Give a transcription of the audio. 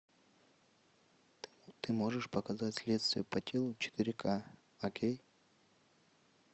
ты можешь показать следствие по телу четыре ка окей